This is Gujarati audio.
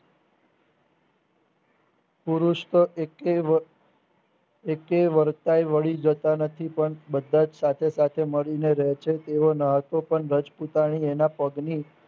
પુરુષતો એકેય એકેય વર્તાય વળી જતા નથી પણ બધા સાથે સાથે મળીને રહે છે તેઓ માં તો રજપૂતાણી ઓન પગની